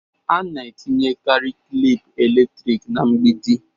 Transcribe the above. A na-etinyekarị klịp eletrik na mgbidi.